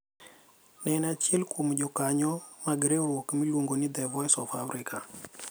Ne en achiel kuom jokanyo mag riwruok miluongo ni "The Voice of Africa".